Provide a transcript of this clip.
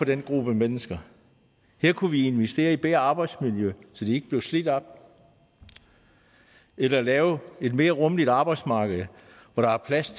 den gruppe mennesker her kunne vi investere i bedre arbejdsmiljø så de ikke bliver slidt op eller lave et mere rummeligt arbejdsmarked hvor der er plads